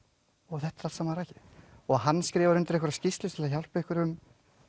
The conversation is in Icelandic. þetta er allt saman rakið og hann skrifar undir einhverja skýrslu til að hjálpa einhverjum